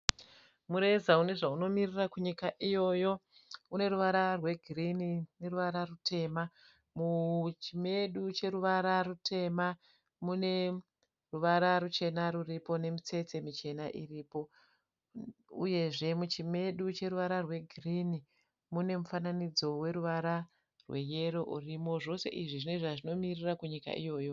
Mureza une zvaunomirira kunyika iyoyo. Une ruvara rwegirini neruvara rutema. Muchimedu cheruvara rutema mune ruvara ruchena ruripo nemitsetse michena iripo uyezve muchimedu cheruvara rwegirinhi mune mufananidzo weruvara rweyero urimo. Zvose izvi zvine zvazvinomirira kunyika iyoyo.